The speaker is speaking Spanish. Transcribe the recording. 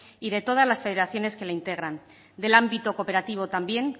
y de todas las federaciones que la integran del ámbito cooperativo también